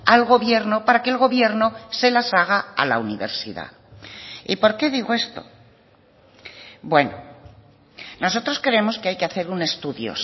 al gobierno para que el gobierno se las haga a la universidad y por qué digo esto bueno nosotros creemos que hay que hacer un estudio